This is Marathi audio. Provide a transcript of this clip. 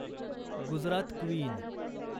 गुजरात क्वीन